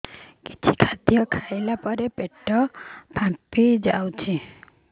କିଛି ଖାଦ୍ୟ ଖାଇଲା ପରେ ପେଟ ଫାମ୍ପି ଯାଉଛି